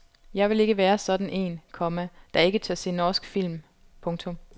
Jeg vil ikke være sådan en, komma der ikke tør se norsk film. punktum